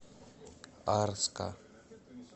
арска